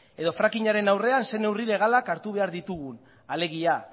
edo fracking aren aurrean zer neurri legalak hartu behar ditugun alegia